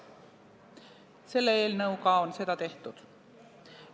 Selle eelnõuga on seda tehtud.